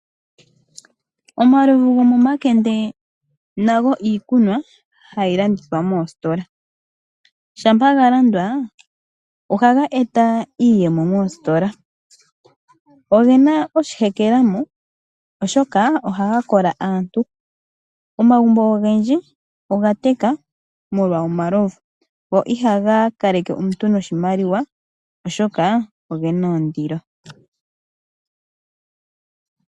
Omalovu gomomakende nago iikunwa hayi landithwa moositola, shampa ga landwa ohaga eta iiyemo moositola. Ogena oshihekelamo oshoka ohaga kola aantu. Omagumbo ogendji oga take molwa omalovu, go ihaga kaleke omuntu noshimaliwa oshoka ogena ondilo.